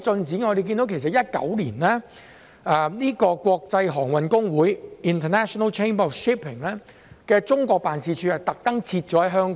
在2019年，國際航運公會特意把中國辦事處設於香港。